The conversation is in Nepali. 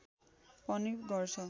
पनि गर्छ